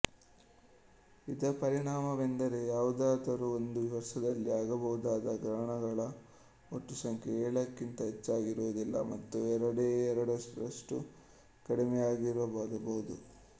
ಇದರ ಪರಿಣಾಮವೆಂದರೆ ಯಾವುದಾದರೂ ಒಂದು ವರ್ಷದಲ್ಲಿ ಆಗಬಹುದಾದ ಗ್ರಹಣಗಳ ಒಟ್ಟು ಸಂಖ್ಯೆ ಏಳಕ್ಕಿಂತ ಹೆಚ್ಚಾಗಿರುವುದಿಲ್ಲ ಮತ್ತು ಎರಡೇ ಎರಡರಷ್ಟು ಕಡಿಮೆಯಾಗಿರಬಹುದು